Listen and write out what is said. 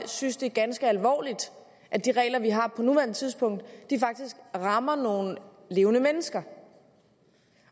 synes det er ganske alvorligt at de regler vi har på nuværende tidspunkt faktisk rammer nogle levende mennesker